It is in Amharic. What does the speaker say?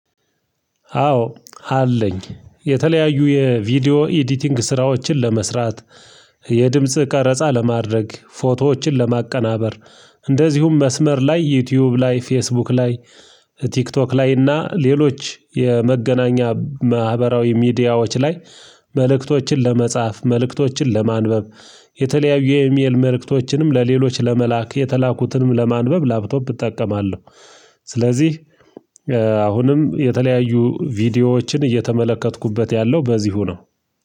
አዎ አለኝ። የተለያዩ የቪዲዮ ኤዲቲንግ ስራዎችን ለመስራት፤ የድምጽ ቀረጻ ለማድረግ ፎቶዎችን ለማቀናበር እንደዚሁም መስመር ላይ ዩቲዩብ ላይ ፌስቡክ ላይ ቲክቶክ ላይ እና ሌሎች የመገናኛ ማህበራዊ ሚዲያዎች ላይ መልእክቶችን ለመጻፍ መልእክቶችን ለማንበብ የተለያዩ የኢሜል መልእክቶችንም ለሌሎች ለመላክ የተላኩትንም ለማንበብ ላፕቶፕ እጠቀማለሁ። ስለዚህ አሁንም የተለያዩ ቪዲዮዎችን እየተመለከትኩበት ያለው በዚሁ ነው።